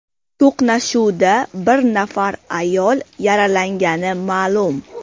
To‘qnashuvda bir nafar ayol yaralangani ma’lum.